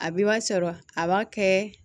A bɛ b'a sɔrɔ a b'a kɛ